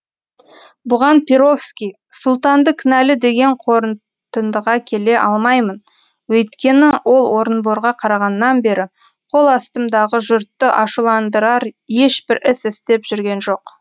бұған перовский сұлтанды кінәлі деген қорытындыға келе алмаймын өйткені ол орынборға қарағаннан бері қол астымдағы жұртты ашуландырар ешбір іс істеп жүрген жоқ